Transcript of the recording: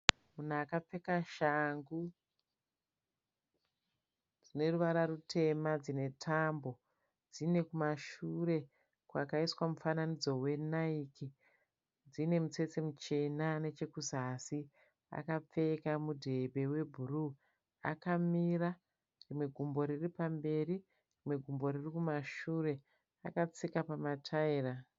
Munhu akapfeka shangu dzine ruvara rutema dzine tambo, dzine kumashure kwakaiswa mufananidzo weNaiki, dzine mutsetse muchena nechekuzasi, akapfeka mudhebhe webhuruu. Akamira rimwe gumbo riri pamberi, rimwe riri kumashure. Akatsika pamataira.